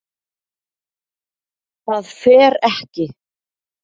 ÞAÐ FER EKKI